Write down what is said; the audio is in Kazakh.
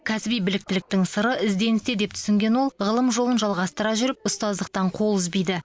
кәсіби біліктіліктің сыры ізденісте деп түсінген ол ғылым жолын жалғастыра жүріп ұстаздықтан қол үзбейді